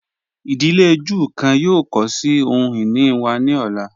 Idílé Júù kan yóò kọ sí ohun-ini wa ni ọ̀la.